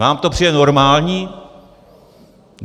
Vám to přijde normální?